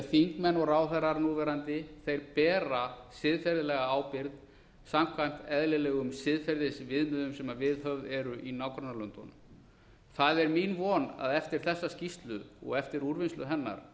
því þingmenn og ráðherrar núverandi þeir bera siðferðilega ábyrgð samkvæmt eðlilegum siðferðisviðmiðum sem viðhöfð eru í nágrannalöndunum það er mín von að eftir þessa skýrslu og eftir úrvinnslu hennar